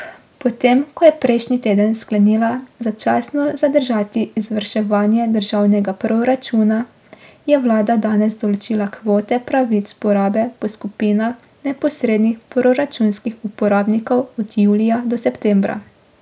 Potem ko je prejšnji teden sklenila začasno zadržati izvrševanje državnega proračuna, je vlada danes določila kvote pravic porabe po skupinah neposrednih proračunskih uporabnikov od julija do septembra.